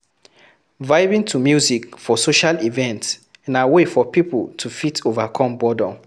vibing to music for social event na way for pipo to fit overcome boredom